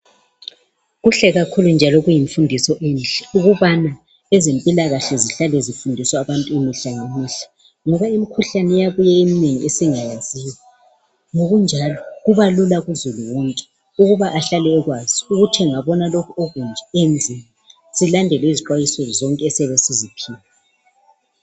Kuhle kakhulu njalo kuyimfundiso enhle ukubana ezempila kahle zihlale zifundiswa abantu imihla ngemihla ngoba imikhuhlane iyabuya eminengi esingayaziyo ngokunjalo kubalula kuzulu wonke ukuba ahlale ekwazi ukuthi angabona lokhu okunje enzeni. silandele izixwayiso zonke esiyabe siziphiwe.